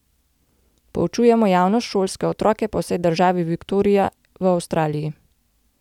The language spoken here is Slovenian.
Poučujemo javnost, šolske otroke, po vsej državi Viktorija v Avstraliji.